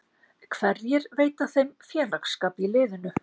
Hverjir veita þeim félagsskap í liðinu?